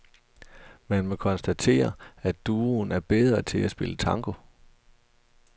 Man må konstatere, at duoen er bedre til at spille tango.